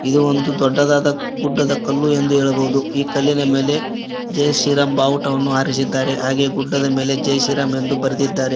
ಇದು ಒಂದು ದೊಡ್ಡದಾದ ಗುಡ್ಡದ ಕಲ್ಲು ಎಂದು ಹೇಳಬಹುದು ಈ ಕಲ್ಲಿನ ಮೇಲೆ ಜೈ ಶ್ರೀ ರಾಮ್ ಬಾವುಟವನ್ನು ಹಾರಿಸಿದ್ದಾರೆ ಹಾಗೆ ಗುಡ್ಡದ ಮೇಲೆ ಜೈ ಶ್ರೀರಾಮ್ ಎಂದು ಬರೆದಿದ್ದಾರೆ.